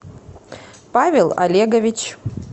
павел олегович